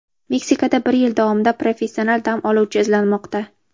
Meksikada bir yil davomida professional dam oluvchi izlanmoqda.